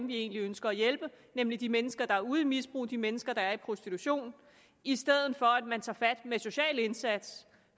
vi egentlig ønsker at hjælpe nemlig de mennesker der er ude i misbrug de mennesker der er i prostitution i stedet for at man tager fat med en social indsats